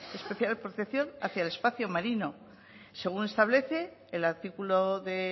especial protección hacia el espacio marino según establece el artículo de